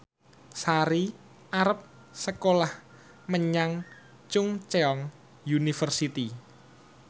Sari arep sekolah menyang Chungceong University